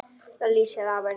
Það lýsir af henni.